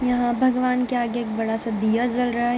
यहाँ भगवान के आगे एक बड़ा सा दिया जल रहा है।